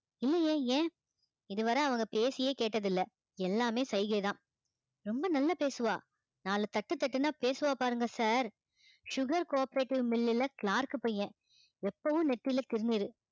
இல்லையே ஏன் இதுவரை அவங்க பேசியே கேட்டதில்லை எல்லாமே சைகைதான் ரொம்ப நல்லா பேசுவா நாலு தட்டு தட்டுன்னா பேசுவா பாருங்க sir sugar cooperative mill லுல clerk பையன் எப்பவும் நெத்தியில திருநீரு